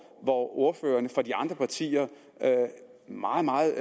hvor ordførerne fra de andre partier meget meget